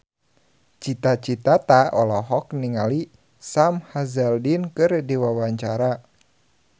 Cita Citata olohok ningali Sam Hazeldine keur diwawancara